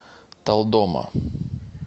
талдома